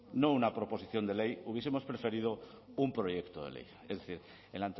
no una proposición de ley hubiesemos preferido un proyecto de ley es decir en